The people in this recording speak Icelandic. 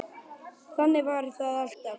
Þannig var það alltaf.